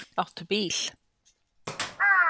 Áttu bíl?